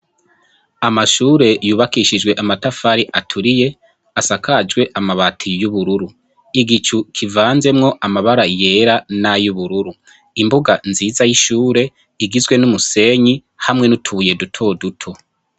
Amashure yubakishijwe amatafari aturiye asakajwe amabati y'ubururu igicu kivanzemwo amabara yera n'a y ubururu imbuga nziza y'ishure igizwe n'umusenyi hamwe n'utuye dutoduto.